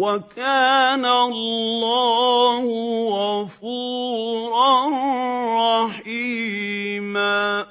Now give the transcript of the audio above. وَكَانَ اللَّهُ غَفُورًا رَّحِيمًا